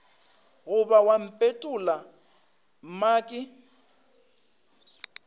goba wa mpetolla mo ke